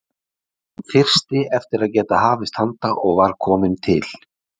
Hann þyrsti eftir að geta hafist handa og var kominn til